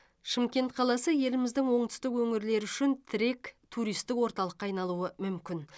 шымкент қаласы еліміздің оңтүстік өңірлері үшін тірек туристік орталыққа айналуы мүмкін